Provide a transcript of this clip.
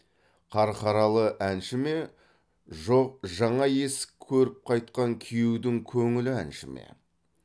қарқаралы әнші ме жоқ жаңа есік көріп қайтқан күйеудің көңілі әнші ме